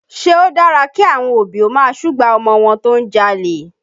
Ṣé ó dára kí àwọn òbí ó máa súgbà ọmọ wọn tó ń jalè?